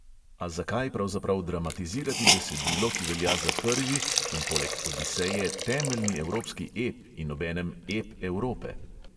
A zakaj pravzaprav dramatizirati besedilo, ki velja za prvi in poleg odiseje temeljni evropski ep in obenem ep evrope?